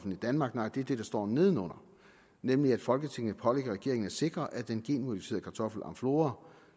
i danmark nej det er det der står nedenunder nemlig at folketinget pålægger regeringen at sikre at den genmodificerede kartoffel amflora